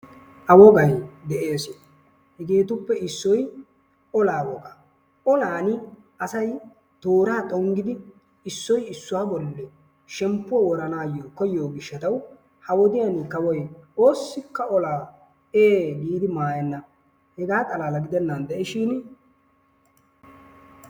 Ha wogayi de"es. Hegeetuppe issoyi olaa wogaa. Olaani asayi tooraa xonggidi issoyi issuwa bollaani shemppuwa woranaayyo koyyiyo gishshatawu ha wodiyan kawoyi oossikka olaa ee giidi maayenna. Hegaa xalaala gidennan de"ishin.....